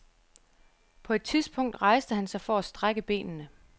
På et tidspunkt rejste han sig for at strække benene.